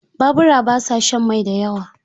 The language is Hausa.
Babura ba sa shan mai da yawa.